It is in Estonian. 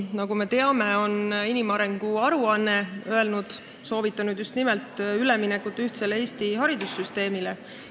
Nagu me teame, inimarengu aruandes on soovitatud üle minna ühtsele Eesti haridussüsteemile.